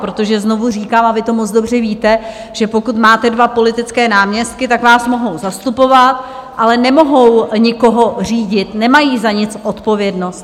Protože znovu říkám, a vy to moc dobře víte, že pokud máte dva politické náměstky, tak vás mohou zastupovat, ale nemohou nikoho řídit, nemají za nic odpovědnosti.